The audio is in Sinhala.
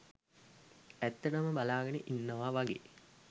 ඇත්තටම බලාගෙන ඉන්නවා වගේ